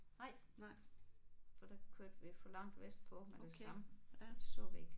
Nej for der kørte vi for langt vestpå med det samme. Det så vi ikke